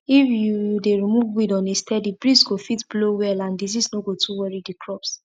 if you you dey remove weed on a steady breeze go fit blow well and disease no go too worry the crops